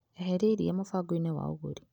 Eheria iria mũbango-inĩ wa ũgũri .